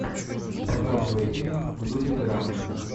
показывай фильм в духе драмы